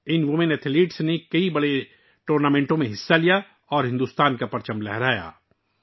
ان خواتین ایتھلیٹس نے کئی بڑے ٹورنامنٹس میں حصہ لیا اور بھارت کے جھنڈے کو روشن کیا